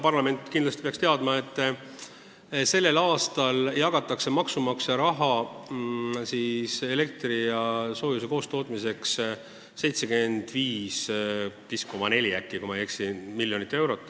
Parlament peaks kindlasti teadma, et tänavu jagatakse maksumaksja raha elektri ja soojuse koostootmiseks 75,4 miljonit eurot – loodan, et ma ei eksi.